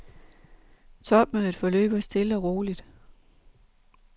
Topmødet forløber stille og roligt.